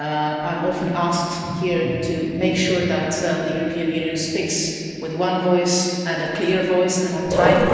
I am often asked here to make sure that the European Union speaks with one voice, and a clear voice and on time.